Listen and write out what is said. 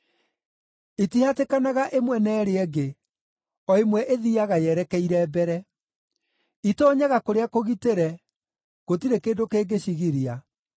Itihatĩkanaga ĩmwe na ĩrĩa ĩngĩ; o ĩmwe ĩthiiaga yerekeire mbere. Itoonyaga kũrĩa kũgitĩre, gũtirĩ kĩndũ kĩngĩcigiria.